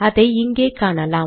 அதை இங்கே காணலாம்